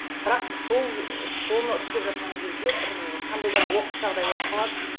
бірақ сол соны істеп жатқан кезде бір қандай да бір оқыс жағдай болып қалады